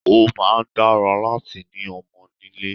Ó máa ń dára láti ni ọmọ nílé